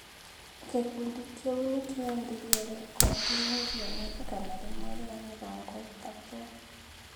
Gĩkundi kĩu nĩ kĩendirie rekondi mirioni igana rĩmwe rĩa mĩrongo ĩtatũ.